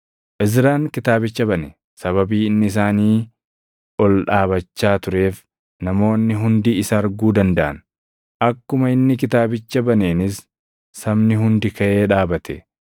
Izraan Kitaabicha bane. Sababii inni isaanii ol dhaabachaa tureef namoonni hundi isa arguu dandaʼan; akkuma inni kitaabicha baneenis sabni hundi kaʼee dhaabate.